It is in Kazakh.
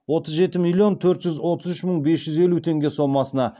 отыз жеті миллион төрт жүз отыз үш мың бес жүз елу теңге сомасына